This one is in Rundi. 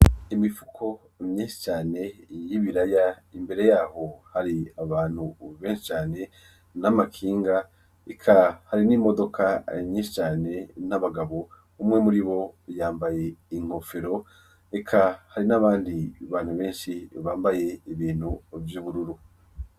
Imifuko myishicane yibiraya imbere yaho hari abantu beshincane n'amakinga eka hari n'imodoka rinyinshicane n'abagabo umwe muri bo yambaye inkofero eka hari n'abandi bantu benshi bambaye ibintu vy'ubururu.